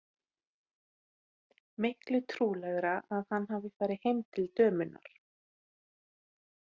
Miklu trúlegra að hann hafi farið heim til dömunnar.